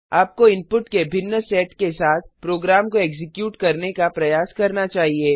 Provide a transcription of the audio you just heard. आपको इनपुट के भिन्न सेट के साथ प्रोग्राम को एक्जीक्यूट करने का प्रयास करना चाहिए